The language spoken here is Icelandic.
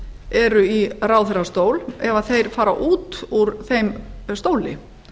eru í ráðherrastól ef þeir fara út úr þeim stóli